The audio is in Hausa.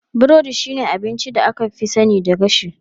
Burodi shine abincin da aka fi sani na gashi.